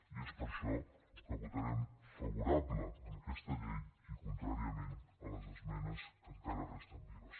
i és per això que votarem favorablement aquesta llei i contràriament a les esmenes que encara resten vives